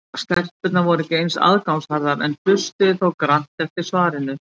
Stelpurnar voru ekki eins aðgangsharðar en hlustuðu þó grannt eftir svarinu.